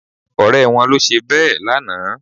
Ọ̀rẹ́ wọn ló ṣe bẹ́ẹ̀ lánàá